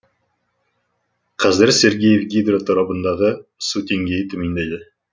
қазір сергеев гидро торабындағы су деңгейі төмендеді